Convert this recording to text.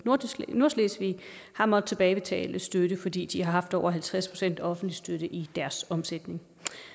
nordslesvig har måttet tilbagebetale støtte fordi de har haft over halvtreds procent offentlig støtte i deres omsætning